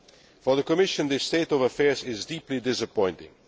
For the Commission, this state of affairs is deeply disappointing.